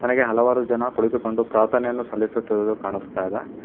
ನನಗೆ ಹಲವಾರು ಜನ ಕುಳಿತುಕೊಂಡು ಪ್ರಾರ್ಥನೆಯನ್ನು ಸಲ್ಲಿಸುತ್ತಿರುವುದು ಕಾಣಿಸ್ತಾ ಇದೆ.